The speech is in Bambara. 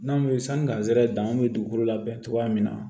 N'anw bɛ sani garisɛgɛ danni bɛ dugukolo labɛn cogoya min na